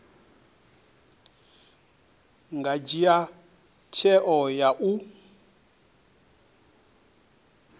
nga dzhia tsheo ya u